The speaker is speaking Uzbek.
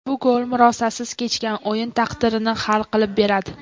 Bu gol murosasiz kechgan o‘yin taqdirini hal qilib beradi.